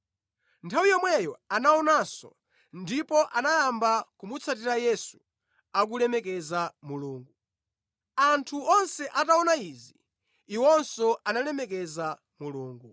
Nthawi yomweyo anaonanso ndipo anayamba kumutsatira Yesu, akulemekeza Mulungu. Anthu onse ataona izi, iwonso analemekeza Mulungu.